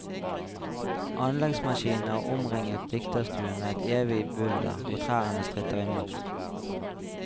Anleggsmaskinene har omringet dikterstuen med et evig bulder, og trærne stritter imot.